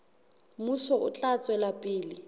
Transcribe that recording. mmuso o tla tswela pele